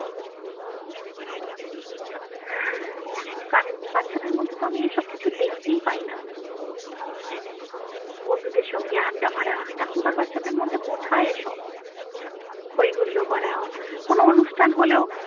এখনকার বাচ্ছাদের মধ্যে তো আমি এসব কিছু দেখতেই পাই না বন্ধুদের সঙ্গে আড্ডা মারা এখনকার বাচ্ছাদের মধ্যে কোথায় এসব হইহুল্লোর করা কোন অনুষ্ঠান হলেও।